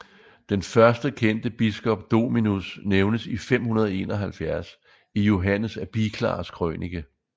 Den første kendte biskop Dominus nævnes i 571 i Johannes af Biclars krønike